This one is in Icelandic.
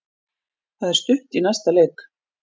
Það er stutt í næsta leik.